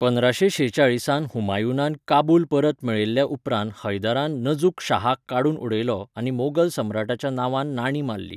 पंदराशें शेचाळीसांत हुमायूनान काबूल परत मेळयल्या उपरांत हैदरान नझुक शाहाक काडून उडयलो आनी मोगल सम्राटाच्या नांवान नाणीं मारलीं.